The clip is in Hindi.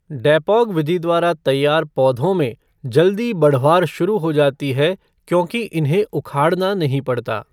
डैपोग विधि द्वारा तैयार पौधों में जल्दी बढ़वार शुरु हो जाती है क्योंकि इन्हें उखाड़ना नहीं पड़ता।